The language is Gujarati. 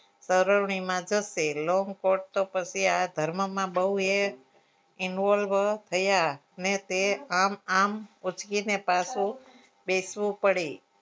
સરવણીમાં જશે લોકો તો પછી આ ધર્મ માં બહુ involve થયા અને તે આમ આમ ઉચકી પાછુ બેસવું પડે